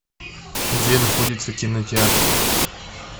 где находится кинотеатр